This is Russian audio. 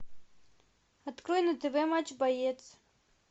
открой на тв матч боец